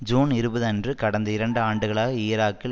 June இருபது அன்று கடந்த இரண்டு ஆண்டுகளாக ஈராக்கில்